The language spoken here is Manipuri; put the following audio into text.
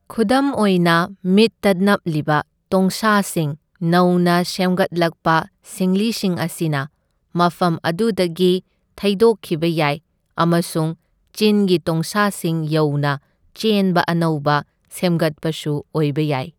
ꯈꯨꯗꯝ ꯑꯣꯏꯅ, ꯃꯤꯠꯇ ꯅꯞꯂꯤꯕ ꯇꯣꯡꯁꯥꯁꯤꯡ ꯅꯧꯅ ꯁꯦꯝꯒꯠꯂꯛꯄ ꯁꯤꯡꯂꯤꯁꯤꯡ ꯑꯁꯤꯅ ꯃꯐꯝ ꯑꯗꯨꯗꯒꯤ ꯊꯩꯗꯣꯛꯈꯤꯕ ꯌꯥꯏ ꯑꯃꯁꯨꯡ ꯆꯤꯟꯒꯤ ꯇꯣꯡꯁꯥꯁꯤꯡ ꯌꯧꯅ ꯆꯦꯟꯕ ꯑꯅꯧꯕ ꯁꯦꯝꯒꯠꯄꯁꯨ ꯑꯣꯏꯕ ꯌꯥꯏ꯫